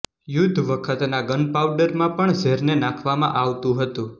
યુદ્ધ વખતના ગનપાઉડરમાં પણ ઝેરને નાંખવામાં આવતું હતું